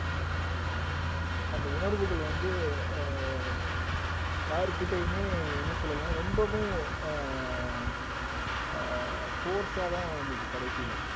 அந்த உணர்வுகள் வந்து ஆஹ் யாருகிட்டயுமே என்ன சொல்லலாம் ரொம்பவும் ஆஹ் அஹ் force ஆதான் வந்தது கடைசியில